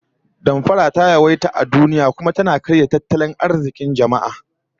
Damfara ta yawaita a duniya, kuma tana karya tattalin arzikin jama'a